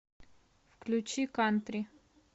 включи кантри